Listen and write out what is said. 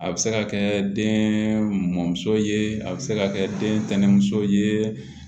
A bɛ se ka kɛ den mɔmuso ye a bɛ se ka kɛ den tɛnɛmuso ye